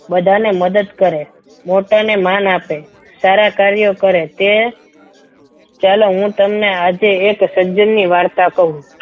બધાને મદદ કરે મોટા અને માન આપે સારા કાર્ય કરે તે ચાલો હું તમને આજે એક સજ્જન ની વાર્તા કહું.